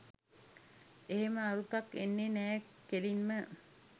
එහෙම අරුතක් එන්නේ නෑ කෙලින්ම.